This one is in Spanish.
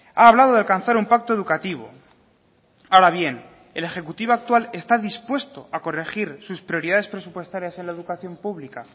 ha hablado de alcanzar un pacto educativo ahora bien el ejecutivo actual está dispuesto a corregir sus prioridades presupuestarias en la educación pública